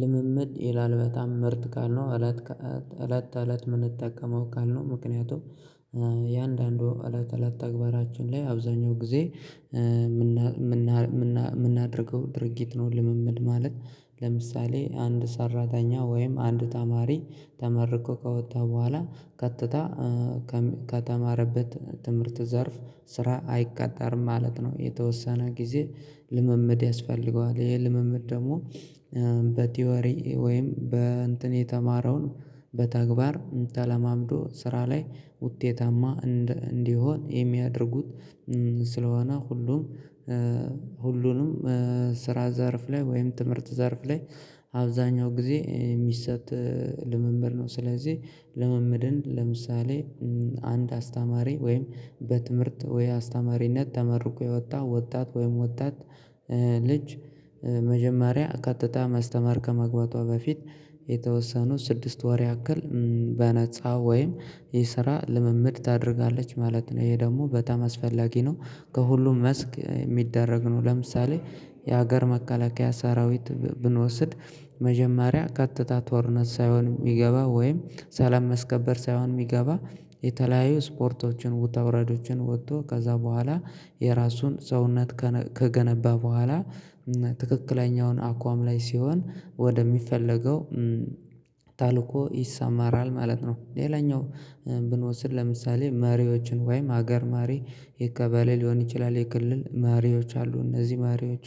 ልምምድ ይላል በጣም ምርጥ ቃል ነው እለት ተእለት እለት ምንጠቀመው ቃል ነው። ምክንያቱም የአንዳንዱ እለት እለት ተግባራችን ላይ አብዛኛው ጊዜ ምናደርገው ድርጊት ነው። ልምምድ ማለት ለምሳሌ አንድ ሰራተኛ ወይም አንድ ተማሪ ተመርቆ ከወጣ በኋላ ከትታ ከተማረበት ትምህርት ዘርፍ ስራ አይቀጠርም ማለት ነው። የተወሰነ ጊዜ ልምምድ ያስፈልገዋል ይሄ ልምምድ ደግሞ በቲዮሪ ወይም በእንትን የተማረውን በተግባር ተለማምዶ ስራ ላይ ውጤታማ እንዲሆን የሚያደርጉት ስለሆነ ሁሉም ሁሉንም ስራ ዘርፍ ላይ ወይም ትምህርት ዘርፍ ላይ አብዛኛው ጊዜ የሚሰጥ ልምምድ ነው። ስለዚህ ልምምድን ለምሳሌ አንድ አስተማሪ ወይም በትምህርት ወይ አስተማሪነት ተመርቆ የወጣ ወጣት ወይም ወጣት ልጅ መጀመሪያ ቀጥታ ማስተማር ከመግባቷ በፊት የተወሰኑ ስድስት ወር ያክል በነፃ ወይም የስራ ልምምድ ታደርጋለች ማለት ነው። ይሄ ደግሞ በጣም አስፈላጊ ነው። ከሁሉም መስክ የሚደረግ ነው። ለምሳሌ የሀገር መከላከያ ሰራዊት ብንወስድ መጀመሪያ ከጥታ ጦርነት ሳይሆን ሚገባ ወይም ሰላም ማስከበር ሳይሆን የሚገባ የተለያዩ ስፖርቶችን ውታ ውረዶችን ወጥቶ ከዛ በኋላ የራሱን ሰውነት ከገነባ በኋላ ትክክለኛውን አኳም ላይ ሲሆን ወደ ሚፈለገው ተልኮ ይሰማራል ማለት ነው። ሌላኛው ብንወስድ ለምሳሌ መሪዎችን ወይም አገር መሪ የከበሌ ሊሆን ይችላል የክልል መሪዎች አሉ። እነዚህ መሪዎቹ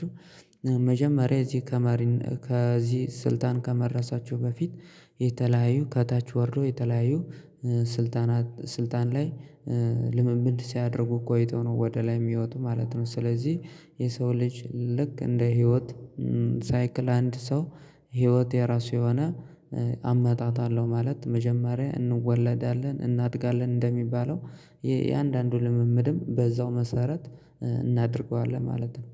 መጀመሪያ እዚህ ከማሪን ከዚህ ስልጣን ከመረሳቸው በፊት የተለያዩ ከታች ወርዶ የተለያዩ ስልጣናት ስልጣን ላይ ልምምድ ሲያደርጉ ቆይቶ ነው ወደ ላይ የሚወጡ ማለት ነው። ስለዚህ የሰው ልጅ ልክ እንደ ህይወት ሳይክል አንድ ሰው ህይወት የራሱ የሆነ አመጣጣለሁ ማለት መጀመሪያ እንወለዳለን እናድጋለን እንደሚባለው የአንዳንዱ ልምምድም በዛው መሰረት እናድርገዋለን ማለት ነው።